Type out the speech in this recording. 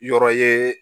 Yɔrɔ ye